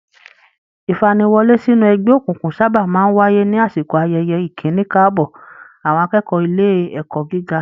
Ìfaniwọ́lé sínú ẹgbẹ́ òkùnkùn sábà máa ń wáyé ní àsìkò ayẹyẹ ìkíni káàbọ̀ àwọn akẹ́kọ̀ọ́ ilé ẹ̀kọ́ gíga